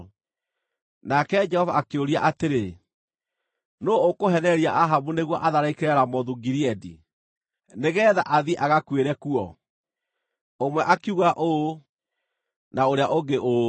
Nake Jehova akĩũria atĩrĩ, ‘Nũũ ũkũheenereria Ahabu nĩguo atharĩkĩre Ramothu-Gileadi, nĩgeetha athiĩ agakuĩre kuo?’ “Ũmwe akiuga ũũ, na ũrĩa ũngĩ ũũ.